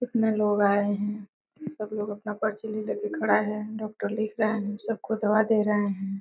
कितने लोग आए हैं। सब लोग अपना पर्ची ले लेके के खड़ा हैं। डॉक्टर लिख रहे हैं। सब को दवा दे रहे हैं।